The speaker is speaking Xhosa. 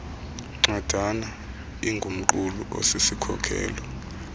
ncwadana ingumqulu osisikhokelo